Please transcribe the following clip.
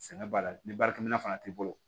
Sɛnɛ baara ni baarakɛminɛn fana t'i bolo